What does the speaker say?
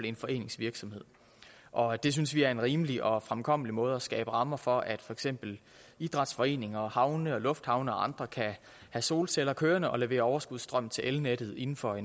en forenings virksomhed og det synes vi er en rimelig og fremkommelig måde at skabe rammer for at for eksempel idrætsforeninger havne lufthavne og andre kan have solceller kørende og levere overskudsstrøm til elnettet inden for